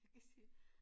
Jeg kan sige